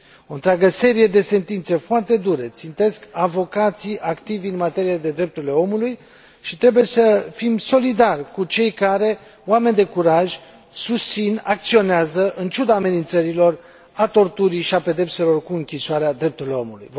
O întreagă serie de sentințe foarte dure țintesc avocații activi în materie de drepturile omului și trebuie să fim solidari cu cei care, oameni de curaj, susțin, acționează, în ciuda amenințărilor, a torturii și a pedepselor cu închisoarea, drepturile omului.